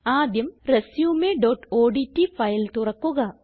ആദ്യം resumeഓഡ്റ്റ് ഫയൽ തുറക്കുക